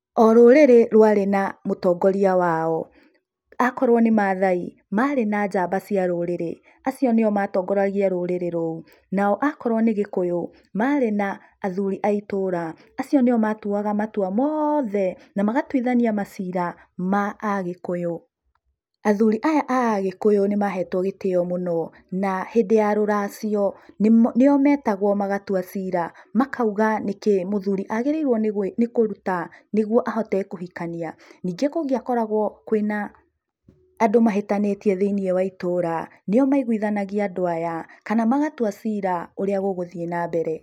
O rũrĩrĩ rwarĩ na mũtongoria wao, akorwo ni Maathai mari na namba cia rũrĩrĩ, acio nĩo matongoragia rũrĩrĩ rũu. Nao akorwo nĩ gĩkũyũ, marĩ na athuri a itũra. Acio nĩo matuaga matua mothe na magatuithania macira ma Agĩkũyũ. Athuri aya a Agĩkũyũ nĩmahetwo gĩtĩyo mũno, na hĩndĩ ya rũracio nio metagwo magatua ciira, makauga nĩkĩĩ mũthuri agĩrĩirwo nĩ kũruta nĩguo ahote kũhikania. Ningĩ kũngĩakoragwo kwĩna andũ mahĩtanĩtie thĩiniĩ wa itũũra, nĩo maiguithanagia andũ aya, kana magatua ciira ũrĩa gũgũthiĩ nambere.